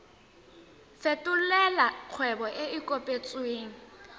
fetolela kgwebo e e kopetswengcc